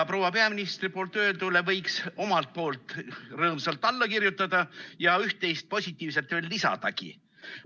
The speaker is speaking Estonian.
Proua peaministri öeldule võiks omalt poolt rõõmsalt alla kirjutada ja üht-teist positiivset veel lisadagi.